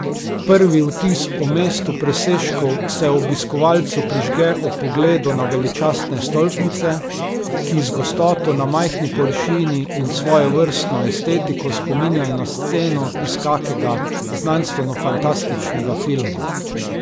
Prvi vtis o mestu presežkov se obiskovalcu prižge ob pogledu na veličastne stolpnice, ki z gostoto na majhni površini in s svojevrstno estetiko spominjajo na sceno iz kakega znanstvenofantastičnega filma.